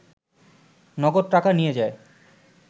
নগদ টাকা নিয়ে যায়